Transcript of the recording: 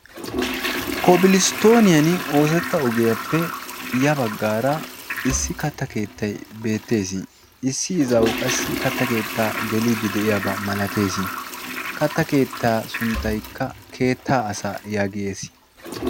kobilisttooniyan oosetta ogiyaappe ya baggaara issi katta keettay beettees. issi izaawu qassi katta keettaa geliiddi de7iyaabaa malatees. katta keettaa sunttaykka "keettaa asaa" yaagees.